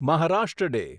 Maharashtra day